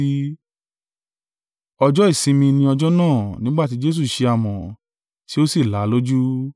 Ọjọ́ ìsinmi ni ọjọ́ náà nígbà tí Jesu ṣe amọ̀, tí ó sì là á lójú.